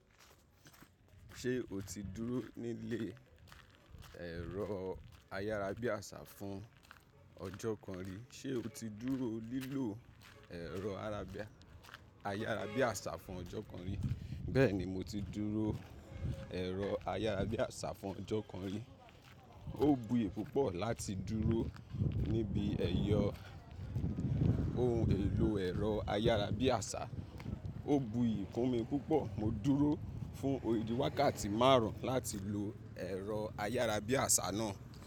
Ṣé o ti dúró nílé ẹ̀rọ ayárabíàṣá fún ọjọ́ kan rí? Ṣé o ti dúró lílò ẹ̀rọ ayárabíàṣá fún ọjọ́ kan rí? Bẹ́ẹ̀ni mo ti dúró ẹ̀rọ ayárabíàṣá fún ọjọ́ kan rí. Ó bu iyì púpọ̀ láti dúró níbi ẹ̀yọ ohun èlò ẹ̀rọ ayárabíàṣá. Ó bu iyì fún mi púpọ̀. Mo dúró fún òdídi wákàtí márùn ún láti lo ẹ̀rọ ayárabíàṣá náà.